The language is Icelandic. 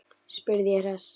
spurði ég hress.